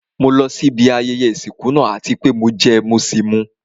Mo lọ sí ibi ayẹyẹ ìsìnkú náà àti pé mo jẹ mọ́ sì mú.